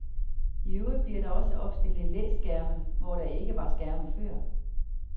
I øvrigt bliver der også opstillet læskærme, hvor der ikke var skærme før.